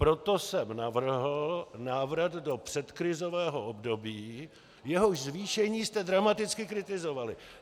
Proto jsem navrhl návrat do předkrizového období, jehož zvýšení jste dramaticky kritizovali.